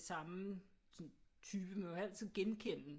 Øh det samme type man kan altid genkende